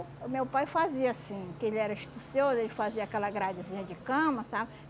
meu pai fazia assim, que ele era astucioso, ele fazia aquela gradezinha de cama, sabe?